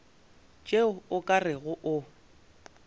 tšeo o ka rego o